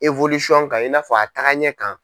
kan i n'a fɔ a taaga ɲɛ kan.